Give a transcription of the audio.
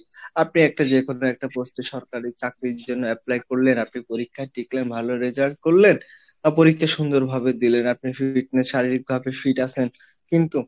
আপনি একটা যেকোনো একটা পোস্টে সরকারি চাকরির জন্য Apply করলেন আপনি পরীক্ষা টিকলেন ভালো result করলেন বা পরীক্ষা সুন্দর ভাবে দিলেন আপনি শারীরিকভাবে fit আছেন কিন্তু,